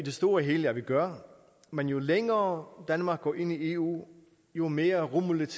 store og hele at vi gør men jo længere danmark går ind i eu jo mere rummeligt